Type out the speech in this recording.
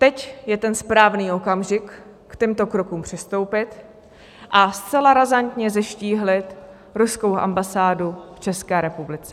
Teď je ten správný okamžik k těmto krokům přistoupit a zcela razantně zeštíhlit ruskou ambasádu v České republice.